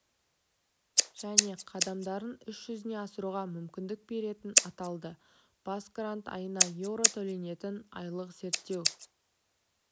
және қадамдарын іс жүзіне асыруға мүмкіндік беретіні аталды бас грант айына еуро төленетін айлық зерттеу